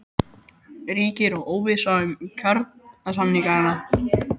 Ríkir aftur óvissa um kjarasamningana?